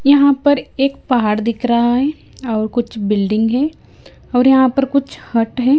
यहाँ पर एक पहाड़ दिख रहा है और कुछ बिल्डिंग है और यहाँ पर कुछ हट है।